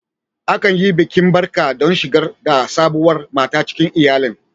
Akan yi bikin barka don shigar da sabuwar mata cikin iyalin.